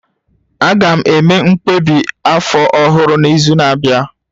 Aga m eme mkpebi afọ ọhụrụ n'izu na-abịa